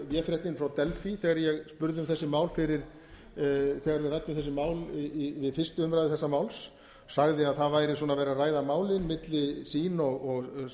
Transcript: véfréttin frá delfí þegar ég spurði um þessi mál þegar við ræddum þessi mál við fyrstu umræðu þessa máls sagði að það væri svona verið að ræða málin milli sín og